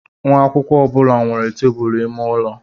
Nwa akwụkwọ ọ bụla nwere tebụl ime ụlọ.